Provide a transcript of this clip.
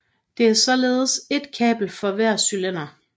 Der er således ét kabel for hver cylinder